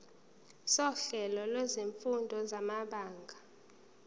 sohlelo lwezifundo samabanga